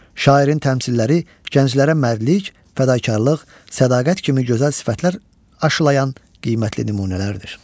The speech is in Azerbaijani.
Şairin təmsilləri gənclərə mərdlik, fədakarlıq, sədaqət kimi gözəl sifətlər aşılayan qiymətli nümunələrdir.